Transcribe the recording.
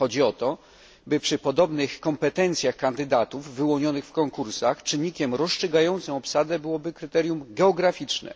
Chodzi o to, by przy podobnych kompetencjach kandydatów wyłonionych w konkursach czynnikiem rozstrzygającym obsadę było kryterium geograficzne.